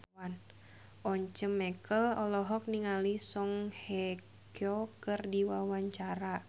Once Mekel olohok ningali Song Hye Kyo keur diwawancara